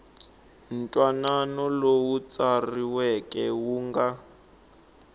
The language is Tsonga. ntwanano lowu tsariweke wu nga